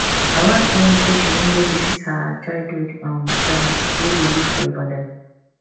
my wife tell me say she wan go visit her childhood um friend wey dey live for ibadan